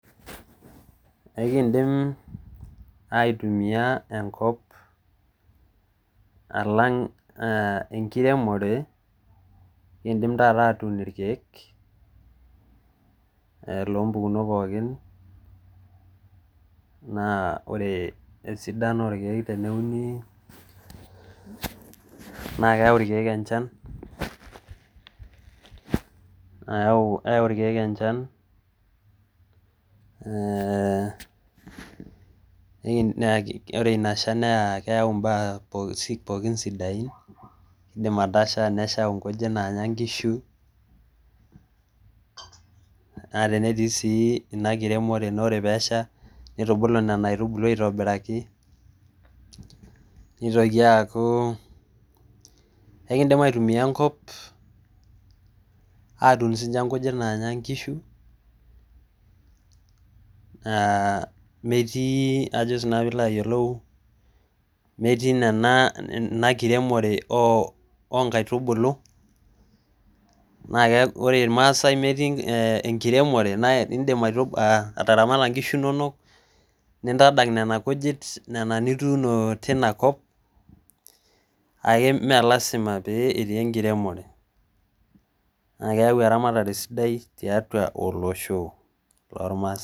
Kindim aitumia enkop alang enkiremore kindim taata atun rkiek loo mpukunot pookin naa ore esidano oo rkiek teneuni naa keyau rkiek enchan eehh ore ina shaan naa keyau mbaa pookin sidain keidim atasha neshau nkujit naanya nkishu naa tennetii sii ina kiremore nitubulu nena aitubulu aitobiraki nitoki aaku ekindim aitumia enkop atun siinche nkujit naanya nkishu ah metii na si nanu ajo pee ilo ayiolou metii ina kiremore oo nkaitubulu naa ore rmaasai metii enkiremore na indim ataramata nkishu nonok nintadak nena kujit nena nituuno teina top kake mme lasima pee etii enkiremore naa keyau eramatare sidai tiatu olosho